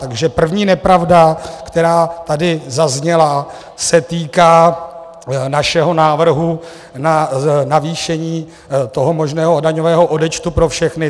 Takže první nepravda, která tady zazněla, se týká našeho návrhu na navýšení toho možného daňového odečtu pro všechny.